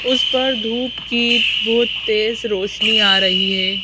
उस पर धूप की बहुत तेज रोशनी आ रही है।